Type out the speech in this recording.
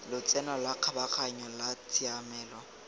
lotseno la kgabaganyo la tshiamelo